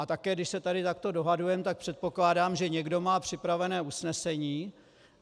A také když se tady takto dohadujeme, tak předpokládám, že někdo má připravené usnesení.